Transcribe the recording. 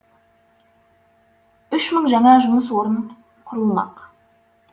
үш мың жаңа жұмыс орны құрылмақ